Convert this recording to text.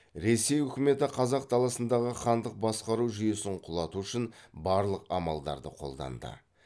ресей өкіметі қазақ даласындағы хандық басқару жүйесін құлату үшін барлық амалдарды қолданды